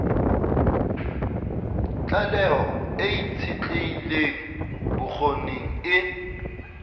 tlaleho e itshetlehileng bokgoning e